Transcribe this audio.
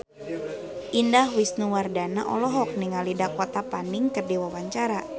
Indah Wisnuwardana olohok ningali Dakota Fanning keur diwawancara